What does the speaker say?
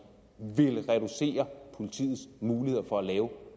ville reducere politiets muligheder for at lave